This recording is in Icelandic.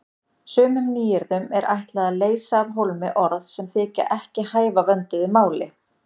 Sumum nýyrðum er ætlað að leysa af hólmi orð sem þykja ekki hæfa vönduðu máli.